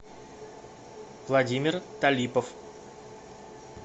владимир талипов